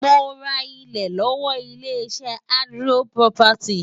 Mo ra ilẹ̀ lọ́wọ́ ilé-iṣẹ́ Adron Property.